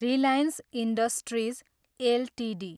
Reliance industries Ltd